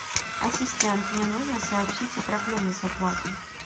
ассистент мне нужно сообщить о проблеме с оплатой